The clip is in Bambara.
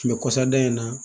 Mɛ kɔsadan in na